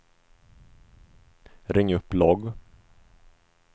ring upp logg